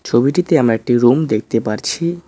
ছবিটিতে আমরা একটি রুম দেখতে পারছি।